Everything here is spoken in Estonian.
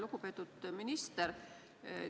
Lugupeetud minister!